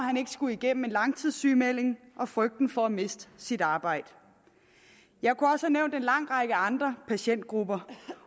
skulle igennem en langtidssygemelding og frygten for at miste sit arbejde jeg kunne også have nævnt en lang række andre patientgrupper